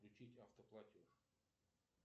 включить автоплатеж